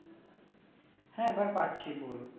হ্যাঁ এবার পাচ্ছি পুরো